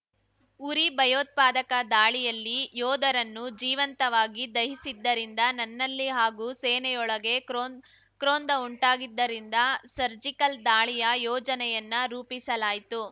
ಉರಿ ಭಯೋತ್ಪಾದಕ ದಾಳಿಯಲ್ಲಿ ಯೋಧರನ್ನು ಜೀವಂತವಾಗಿ ದಹಿಸಿದ್ದರಿಂದ ನನ್ನಲ್ಲಿ ಹಾಗೂ ಸೇನೆಯೋಳಗೆ ಕ್ರೋದ್ ಕ್ರೋಧ ಉಂಟಾಗಿದ್ದರಿಂದ ಸರ್ಜಿಕಲ್‌ ದಾಳಿಯ ಯೋಜನೆಯನ್ನ ರೂಪಿಸಲಾಯಿತು